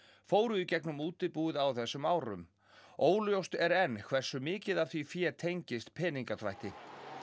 fóru í gegnum útibúið á þessum árum óljóst er hversu mikið af því fé tengist peningaþvætti